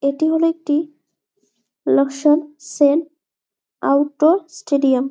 এটি হলো একটি আউট ডোর স্টেডিয়াম ।